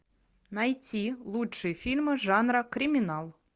найти лучшие фильмы жанра криминал